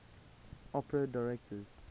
opera directors